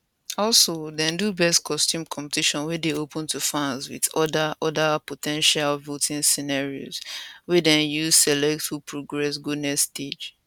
also dem do best costume competition wey dey open to fans wit oda oda po ten tial voting scenarios wey dem use select who progress go next stage